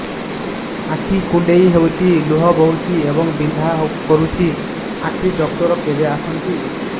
ଆଖି କୁଣ୍ଡେଇ ହେଉଛି ଲୁହ ବହୁଛି ଏବଂ ବିନ୍ଧା କରୁଛି ଆଖି ଡକ୍ଟର କେବେ ଆସନ୍ତି